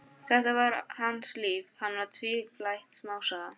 Þetta var hans líf, hann var tvífætt smásaga.